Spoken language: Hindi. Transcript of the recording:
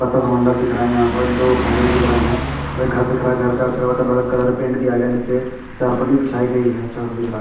छोटा सा मंडप दिख रहा है यहां पर दो खंभे दिख रहे हैं एक घर दिख रहा है घर का अच्छा हुआ कलर कलर पेंट किया गया नीचे चारपड़ी बिछाई गई है दिख रहा है।